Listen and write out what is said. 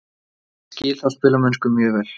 Ég skil þá spilamennsku mjög vel.